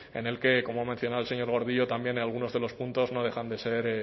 en el que como ha mencionado el señor gordillo también en algunos de los puntos no dejan de ser